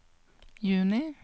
juni